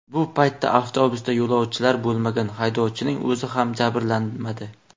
Bu paytda avtobusda yo‘lovchilar bo‘lmagan, haydovchining o‘zi ham jabrlanmadi.